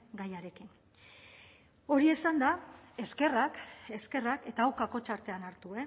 gaiarekin hori esanda eskerrak eskerrak eta hau kakotx artean hartu